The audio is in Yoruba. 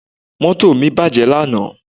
Moto mi baje lana